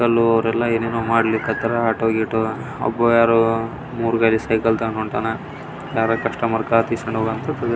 uncle ಅವರ ಏನೇನೊ ಮಾಡ್ಲಿಕತ್ತಾರ ಆಟೋ ಗಿಟೊ ಒಬ್ಬ ಯಾರೋ ಮೂರು ಗಾಡಿ ಸೈಕಲ್ ತಗೊಂಡು ಹೊಂಟಾಣೆ ಯಾರೋ ಕಸ್ಟಮರ್ ಕಾರ್ ಕೀಸ್ --